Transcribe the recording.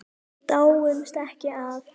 Nokkur þúsund?